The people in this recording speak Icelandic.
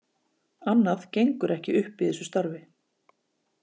Annað gengur ekki upp í þessu starfi.